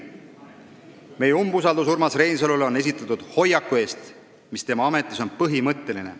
Meie umbusaldusavaldus Urmas Reinsalule on esitatud hoiaku eest, mis tema ametis on põhimõtteline.